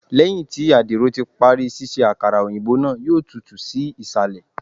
Lẹhin ti adiro ti pari ṣiṣe akara oyinbo naa, yoo tutu si isalẹ